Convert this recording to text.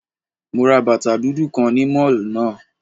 Mo ra bàtà dúdú kan ni Mall náà